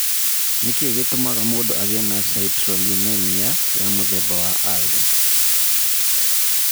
Nĩ kĩĩ gĩtũmaga mũndũ agĩe na citrullinemia ya mũthemba wa I?